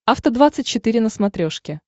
афта двадцать четыре на смотрешке